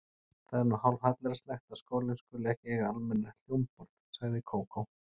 Það er nú hálfhallærislegt að skólinn skuli ekki eiga almennilegt hljómborð sagði Kókó.